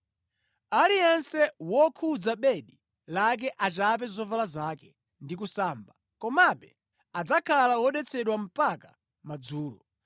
Aliyense wokhudza bedi lake achape zovala zake ndi kusamba, komabe adzakhala wodetsedwa mpaka madzulo.